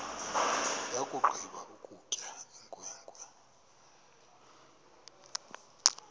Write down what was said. yakugqiba ukutya inkwenkwe